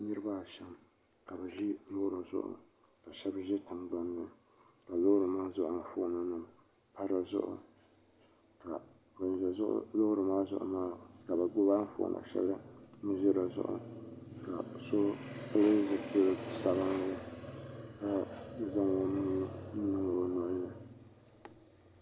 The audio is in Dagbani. niribaashɛm ka bi ʒɛ lori zuɣ' ka shɛbi ʒɛ tiŋgbani ka lorinim maa zuɣ' anƒɔnim pa di zuɣ' ban ʒɛ lori maa zuɣ gbabi anƒɔnim n ʒɛ di zuɣ ka so pɛli zibili sabilinli ka zaŋ o nuu niŋ o